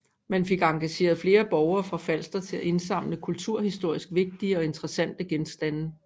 Man fik engageret flere borgere fra Falster til at indsamle kulturhistorisk vigtige og interessante genstande